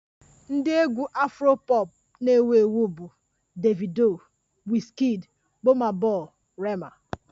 Ndị egwu Afro pọpụ na-ewu ewu bụ Davido, Wizkid, Bọna bọi, Rema